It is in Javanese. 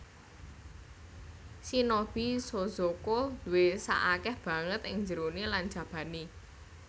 Shinobi shozoko duwé sak akèh banget ing jeroné lan jabané